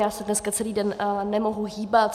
Já se dneska celý den nemohu hýbat.